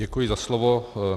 Děkuji za slovo.